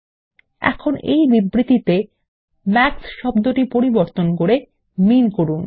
এখন এই বিবৃতিতে মাক্স কে শব্দটি প্রতিস্থাপন করে মিন করুন